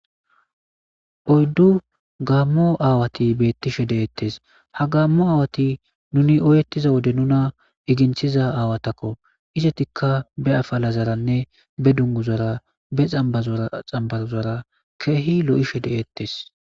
Oyddu gaammo aawati beettishe deettes ha gaammo aawati nuni oyettiza wode nuna iginthiza aawatakko isetikka be afala zaranne be dunguzara be xambazraxambazara keehi lo'ishe de'ettes.